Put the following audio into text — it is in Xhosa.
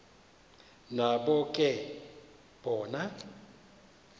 nabo ke bona